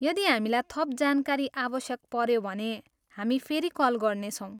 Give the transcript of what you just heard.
यदि हामीलाई थप जानकारी आवश्यक पऱ्यो भने, हामी फेरि कल गर्नेछौँ।